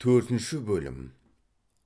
төртінші бөлім